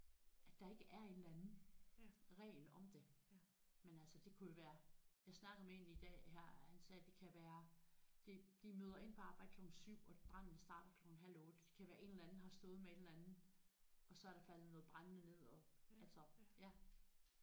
At der ikke er en eller anden regel om det men altså det kunne jo være jeg snakkede med én i dag her han sagde det kan være det de møder ind på arbejde klokken 7 og branden starter klokken halv 8 kan være en eller anden har stået med en eller anden og så er der faldet noget brænde ned og altså ja